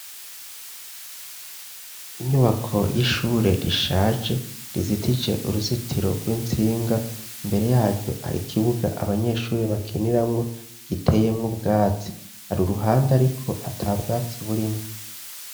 Inyubako y'ishure rishaje rizitije uruzitiro rw'intsinga, imbere yaryo hari ikibuga abanyeshuri bakiniramwo giteyemwo ubwatsi, hari uruhande ariko ata bwatsi burimwo.